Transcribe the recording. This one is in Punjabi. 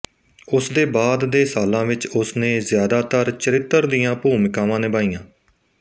ਉਸ ਦੇ ਬਾਅਦ ਦੇ ਸਾਲਾਂ ਵਿੱਚ ਉਸ ਨੇ ਜਿਆਦਾਤਰ ਚਰਿੱਤਰ ਦੀਆਂ ਭੂਮਿਕਾਵਾਂ ਨਿਭਾਈਆਂ